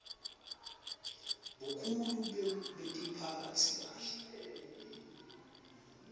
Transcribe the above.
bukhulu bekutiphatsa kabi